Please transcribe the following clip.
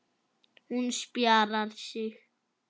Hún spjarar sig.